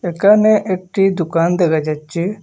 একানে একটি দুকান দেখা যাচ্ছে।